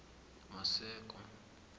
maseko